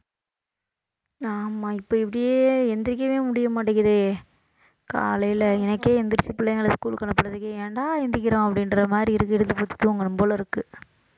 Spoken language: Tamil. ஆமா இப்ப இப்படியே எந்திரிக்கவே முடிய மாட்டேங்குதே காலையில எனக்கே எந்திரிச்சு பிள்ளைங்களை school க்கு அனுப்பறதுக்கு ஏன்டா எந்திரிக்கிறோம் அப்படின்ற மாதிரி இருக்கு இழுத்து போத்தி தூங்கணும் போல இருக்கு